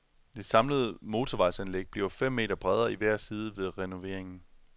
Det samlede motorvejsanlæg bliver fem meter bredere i hver side ved renoveringen.